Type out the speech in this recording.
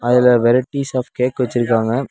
அதுல varieties of cake வச்சுருக்காங்க.